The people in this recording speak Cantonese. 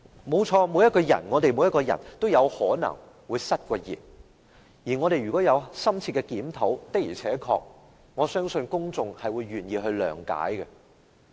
沒錯，每一個人都有可能會失言，只要我們有深切檢討，相信公眾也願意諒解。